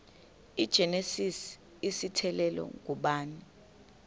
igenesis isityhilelo ngubani